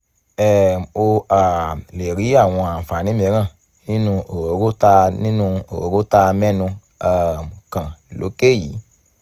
um o um lè rí àwọn àǹfààní mìíràn nínú òróró táa nínú òróró táa mẹ́nu um kàn lókè yìí